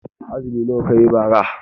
Azumi nawa kayi bara?